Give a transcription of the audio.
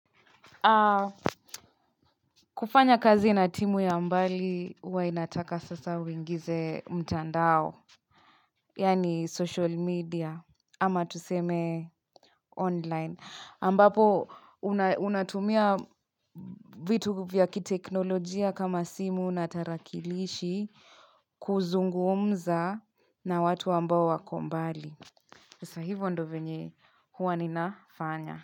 Kufanya kazi na timu ya mbali huwa inataka sasa uingize mtandao Yani social media ama tuseme online ambapo unatumia vitu vya kiteknolojia kama simu na tarakilishi kuzungumza na watu ambao wako mbali sasa hivyo ndio venye huwa ninafanya.